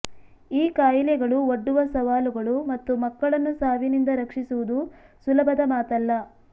ಈ ಕಾಯಿಲೆಗಳು ಒಡ್ಡುವ ಸವಾಲುಗಳು ಮತ್ತು ಮಕ್ಕಳನ್ನು ಸಾವಿನಿಂದ ರಕ್ಷಿಸುವುದು ಸುಲಭದ ಮಾತಲ್ಲ